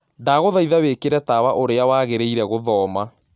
Ndagũthaĩtha wĩkĩre tawaũrĩa wagĩrĩĩre gũthoma